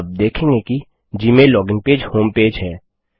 आप देखेंगे कि Gmail login page homepage है